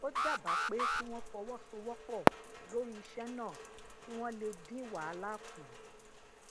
ó dábàá pé kí won fọwọsowópò lori iṣẹ náà kí wón lè dín wàhálà kù